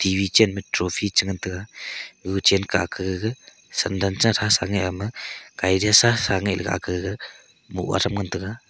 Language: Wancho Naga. vchen ma trophy che ngan taga chen ke ake sandal cha thasa ama kaida sa nga le ake gaga bow ga tham ngan tega.